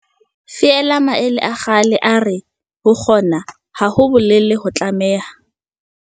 Feela maele a kgale a re, ho kgona, ha ho bolele ho tlameha.